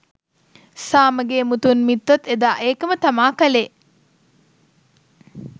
සාමගෙ මුතුන් මිත්තොත් එදා ඒකම තමා කලේ